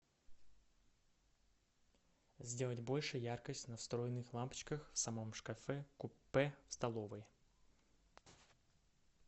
сделать больше яркость на встроенных лампочках в самом шкафе купе в столовой